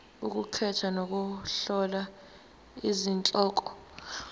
ukukhetha nokuhlola izihloko